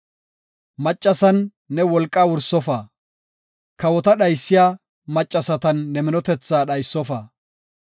maccasan ne wolqaa wursofa; kawota dhaysiya maccasatan ne minotethaa dhaysofa.